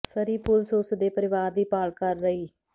ਸਰੀ ਪੁਲਸ ਉਸ ਦੇ ਪਰਿਵਾਰ ਦੀ ਭਾਲ ਕਰ ਰਹੀ